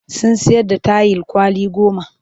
Sun sayar da tayil kwali goma